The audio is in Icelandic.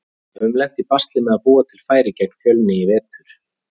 Við höfum lent í basli með að búa til færi gegn Fjölni í vetur.